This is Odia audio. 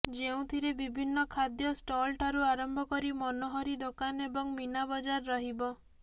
ଯେଉଁଥିରେ ବିଭିନ୍ନ ଖାଦ୍ୟ ଷ୍ଟଲ୍ଠାରୁ ଆରମ୍ଭ କରି ମନୋହରି ଦୋକାନ ଏବଂ ମୀନାବଜାର ରହିବ